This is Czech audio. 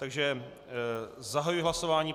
Takže zahajuji hlasování.